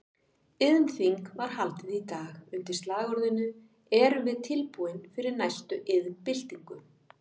Iðnþing var haldið í dag undir slagorðinu Erum við tilbúin fyrir næstu iðnbyltingu?